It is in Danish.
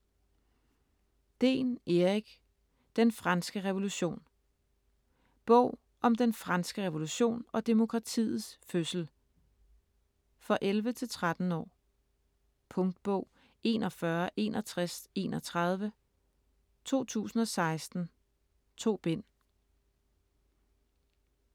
Dehn, Erik: Den franske revolution Bog om den franske revolution og demokratiets fødsel. For 11-13 år. Punktbog 416131 2016. 2 bind.